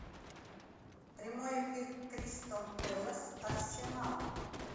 прямой эфир кристал пэлас арсенал